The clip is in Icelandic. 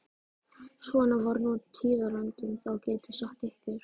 Svona var nú tíðarandinn þá, get ég sagt ykkur.